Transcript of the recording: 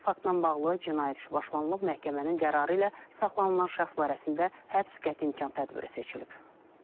Faktla bağlı cinayət işi başlanılıb, məhkəmənin qərarı ilə saxlanılan şəxs barəsində həbs qəti imkan tədbiri seçilib.